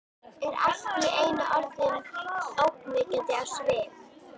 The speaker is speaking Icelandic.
Er allt í einu orðin ógnvekjandi á svip.